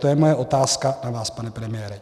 To je moje otázka na vás, pane premiére.